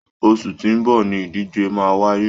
Oṣù tí ó ń bọ̀ ni ìdíje máa wáyé